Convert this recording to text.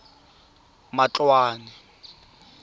matloane